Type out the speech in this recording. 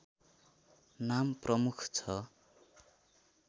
नाम प्रमुख छ